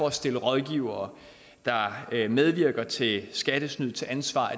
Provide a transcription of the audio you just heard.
at stille rådgivere der medvirker til skattesnyd til ansvar